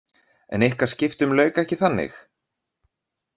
En ykkar skiptum lauk ekki þannig?